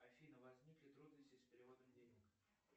афина возникли трудности с переводом денег